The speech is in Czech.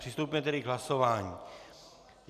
Přistoupíme tedy k hlasování.